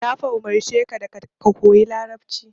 Na fa umurce ka da ka koyi Larabci.